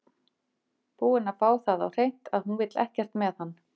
Búinn að fá það á hreint að hún vill ekkert með hann.